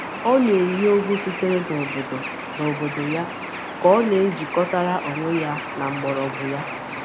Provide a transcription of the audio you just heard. Ọ na-eyí ogwù sitere n’obodo n’obodo ya ka ọ na-ejikọtara onwe ya na mgbọrọgwụ ya.